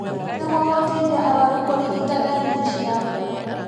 Nĩguo gũteithia arũaru kũrigita ndariri ciao